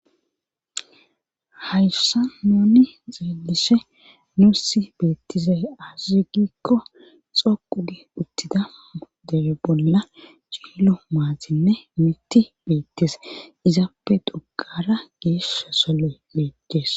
hayssa nuni xeelishe nuussi beettise aziugikko xoqu gi uttida debe bolla ciilo maatinne miti beettis izaappe doqara giesh sole beetees